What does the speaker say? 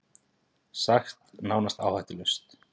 Sagt nánast áhættulaust